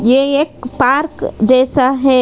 ये एक पार्क जैसा है।